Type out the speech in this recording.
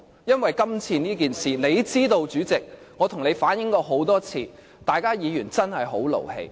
因為今次的事件，主席，你也知道，我向你反映過很多次，大家議員真的很勞氣。